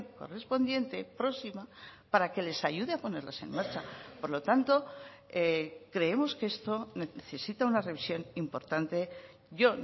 correspondiente próxima para que les ayude a ponerles en marcha por lo tanto creemos que esto necesita una revisión importante yo